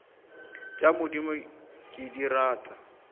tša modimo ke di rata